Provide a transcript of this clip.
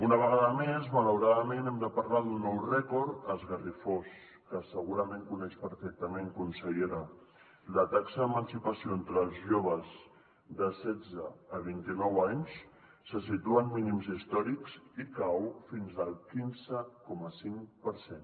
una vegada més malauradament hem de parlar d’un nou rècord esgarrifós que segurament coneix perfectament consellera la taxa d’emancipació entre els joves de setze a vint i nou anys se situa en mínims històrics i cau fins al quinze coma cinc per cent